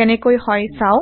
কেনেকৈ হয় চাও